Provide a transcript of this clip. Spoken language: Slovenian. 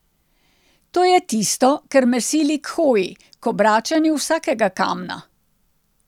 To je tisto, kar me sili k hoji, k obračanju vsakega kamna.